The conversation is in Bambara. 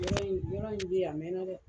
Yɔrɔ in, yɔrɔ in bɛ yen a mɛn na dɛ.